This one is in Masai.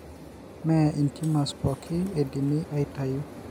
Mee intiumors pooki eidimi aitayu.